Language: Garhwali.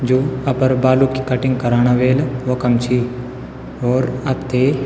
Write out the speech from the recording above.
जू अपर बालू की कटिंग कराणा वेल वखम छी और आपथे --